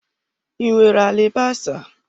I nwere alibasa?